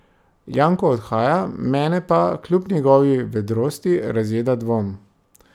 Janko odhaja, mene pa, kljub njegovi vedrosti, razjeda dvom.